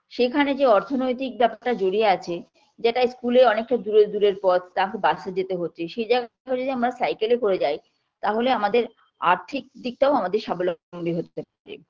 সেখানে যে অর্থনৈতিক ব্যাপারটা জড়িয়ে আছে যেটা school এ অনেক অনেক দূরের দূরের পথ তাকে bus এ যেতে হচ্ছে সেই জায়গাটা যদি আমরা cycle -এ করে যাই তাহলে আমাদের আর্থিক দিকটাও আমাদের সাবলম্বী হতে হচ্ছে